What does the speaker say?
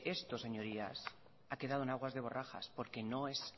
esto ha quedado en aguas de borrajas porque no es